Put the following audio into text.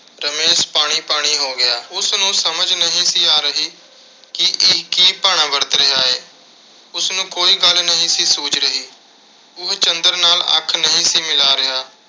ਰਮੇਸ਼ ਪਾਣੀ ਪਾਣੀ ਹੋ ਗਿਆ। ਉਸਨੂੰ ਸਮਝ ਨਹੀਂ ਸੀ ਆ ਰਹੀ ਕਿ ਇਹ ਕੀ ਭਾਣਾ ਵਰਤ ਰਿਹਾ ਏ। ਉਸਨੂੰ ਕੋਈ ਗੱਲ ਨਹੀਂ ਸੀ, ਸੁੱਝ ਰਹੀ। ਉਹ ਚੰਦਰ ਨਾਲ ਅੱਖ ਨਹੀਂ ਸੀ ਮਿਲਾ ਰਿਹਾ।